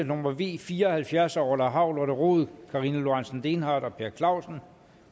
nummer v fire og halvfjerds af orla hav lotte rod karina lorentzen dehnhardt og per clausen